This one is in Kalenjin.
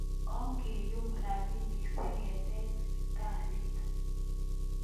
Ongeyum rapinik siketech sipitalit